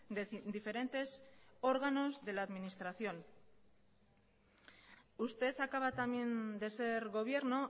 de diferentes órganos de la administración usted acaba también de ser gobierno